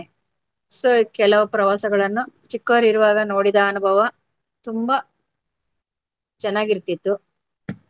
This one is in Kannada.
So ಕೆಲವು ಪ್ರವಾಸಗಳನ್ನು ಚಿಕ್ಕವರು ಇರುವಾಗ ನೋಡಿದ ಅನುಭವ ತುಂಬ ಚೆನ್ನಾಗಿರ್ತಿತ್ತು.